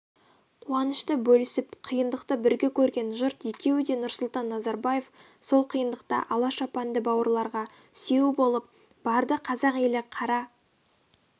қуанышты бөлісіп қиындықты бірге көрген жұрт екеуі де нұрсұлтан назарбаев сол қиындықта ала шапанды бауырларға сүйеу болып барды қазақ елі қара